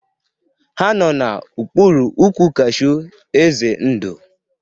Ha no n'okpuru ụkwụ kashew eze ndo